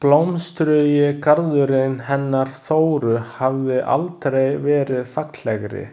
Blómstrugi garðurinn hennar Þóru hafði aldrei verið fallegri.